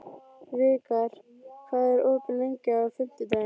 Vikar, hvað er opið lengi á fimmtudaginn?